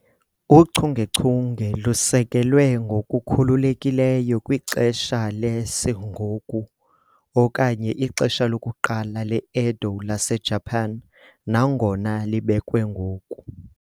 Uchungechunge lusekelwe ngokukhululekileyo kwixesha le-Sengoku okanye ixesha lokuqala le-Edo laseJapan, nangona libekwe ngoku.